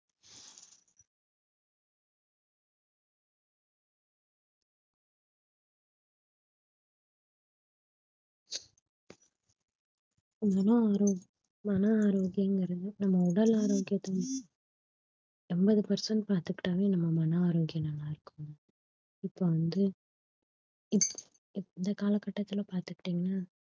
மன ஆரோக்~ மன ஆரோக்கியம்ங்கிறது வந்து நம்ம உடல் ஆரோக்கியத்தை எண்பது percent பார்த்துக்கிட்டாவே நம்ம மன ஆரோக்கியம் நல்லா இருக்கும் இப்ப வந்து இப்~ இந்த காலகட்டத்தில பார்த்துகிட்டீங்கன்னா